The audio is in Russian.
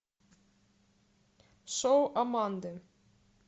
шоу аманды